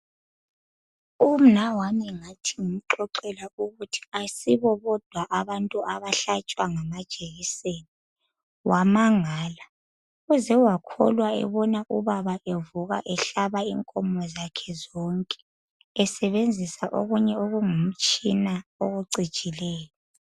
Umnawami ngathi ngimxoxela ukuthi ayisibo bodwa abantu abahlatshwa ngamajekiseni wamangala uze wakholwa ebona ubaba evuka ehlaba inkomo zakhe zonke esebenzisa okunye okungumtshina okucijileyo.